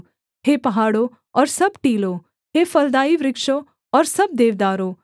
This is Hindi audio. हे पहाड़ों और सब टीलों हे फलदाई वृक्षों और सब देवदारों